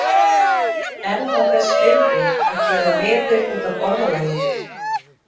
Er það þess virði að gera veður út af orðalagi?